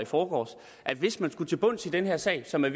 forgårs at hvis man skulle til bunds i den her sag som er